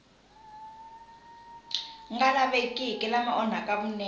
nga lavekiki lama onhaka vunene